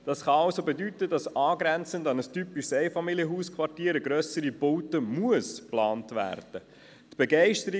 Das kann also bedeuten, dass angrenzend an ein typisches Einfamilienhausquartier eine grössere Baute geplant werden muss.